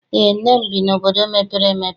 Eé, nne m bi n'obodo mepere emepe.